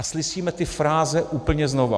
A slyšíme ty fráze úplně znova.